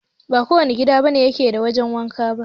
Ba kowane gida ne yake da wajen wanka ba